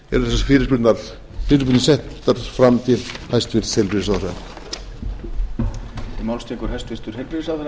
vegna er þessi fyrirspurn sett fram til hæstvirts heilbrigðisráðherra